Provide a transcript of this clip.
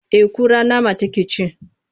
Eh kura nama take ci.